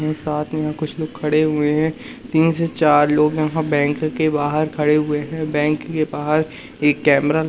यहीं साथ में कुछ लोग खड़े हुए हैं तीन से चार लोग यहां बैंक के बाहर खड़े हुए हैं बैंक के बाहर एक कैमरा --